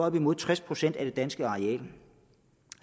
op imod tres procent af det danske areal